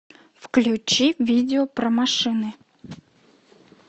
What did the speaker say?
включи видео про машины